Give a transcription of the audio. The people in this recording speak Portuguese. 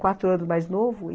Quatro anos mais novo.